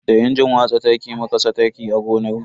Da injin watsa taki muka saka taki a gonarmu.